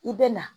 I bɛ na